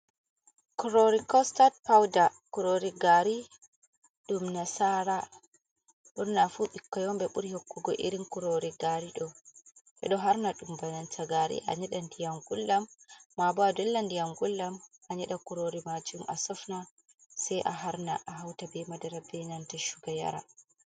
Kurori costat powdar kurori gari ɗum na sara ɓurnafu ɓikkoi on ɓe ɓuri hokkugo irin kurori gari ɗow, ɓeɗo harna dum on bananta gari a nyeda diyam ngulɗam mabo a dolla ndiyam nguldam anyeda kurori majum asofna sai a harna a hauta be madara be nanta shuga yara.